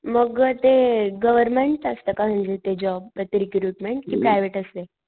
मग अ ते गव्हर्मेंट असत का म्हणजे ते जॉब ते रिक्रूटमेंट कि प्रायव्हेट असते?